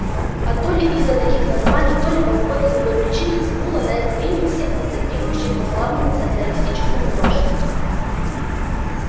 и то ли из-за таких названий то ли по какой-то другой причине тянуло на эту линию всех ностальгирующих по славному социалистическому прошлому